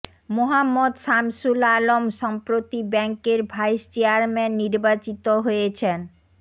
মোহাম্মদ শামসুল আলম সম্প্রতি ব্যাংকের vice chairman নির্বাচিত হয়েছেন